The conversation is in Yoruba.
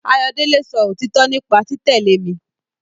Ayọ̀délé sọ òtítọ nípa títẹ̀lé mi